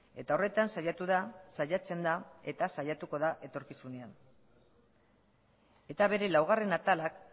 eta horretan saiatu da saiatzen da eta saiatuko da etorkizunean eta bere laugarren atalak